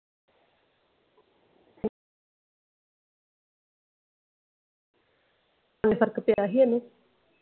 ਫਰਕ ਪਿਆ ਹੀ ਇਹਨੂੰ।